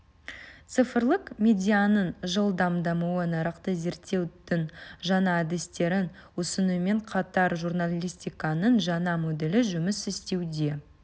цифрлық медианың жылдам дамуы нарықты зерттеудің жаңа әдістерін ұсынумен қатар журналистиканың жаңа моделі жұмыс істеуде